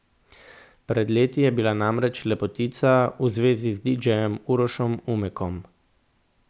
Pred leti je bila namreč lepotica v zvezi z didžejem Urošem Umekom.